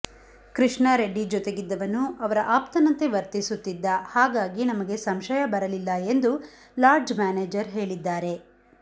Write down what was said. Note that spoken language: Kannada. ಕೃಷ್ಣ ರೆಡ್ಡಿ ಜತೆಗಿದ್ದವನು ಅವರ ಅಪ್ತನಂತೆ ವರ್ತಿಸುತ್ತಿದ್ದ ಹಾಗಾಗಿ ನಮಗೆ ಸಂಶಯ ಬರಲಿಲ್ಲ ಎಂದು ಲಾಡ್ಜ್ ಮ್ಯಾನೇಜರ್ ಹೇಳಿದ್ದಾರೆ